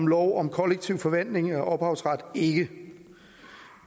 lov om kollektiv forvaltning af ophavsret ikke